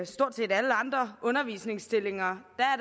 stort set alle andre undervisningsstillinger